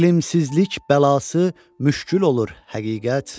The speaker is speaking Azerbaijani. Elmsizlik bəlası müşkül olur həqiqət.